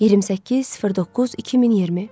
28.09.2020.